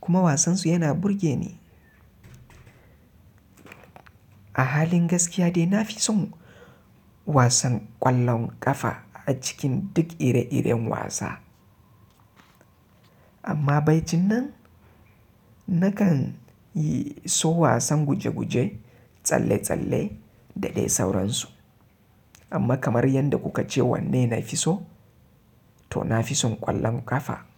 kuma wasan su yana burge ni. A halin gaskiya dai na fi son wasan ƙwallon ƙafa a cikin duk ire-iren wasa. Amma bacin nan nakan yi so wasan guje-guje, tsalle-tsalle da dai sauran su. Amma kamar yadda kuka ce wanne na fi so, to na fi son ƙwallon ƙafa.